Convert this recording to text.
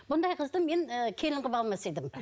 бұндай қызды мен ы келін қылып алмас едім